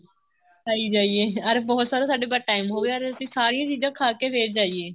ਖਾਈ ਜਾਈਏ ਅਰ ਬਹੁਤ ਸਾਰਾ ਸਾਡੇ ਕੋਲ time ਹੋਵੇ ਤੇ ਸਾਰੀਆਂ ਚੀਜ਼ਾਂ ਖਾ ਕੇ ਫ਼ੇਰ ਜਾਈਏ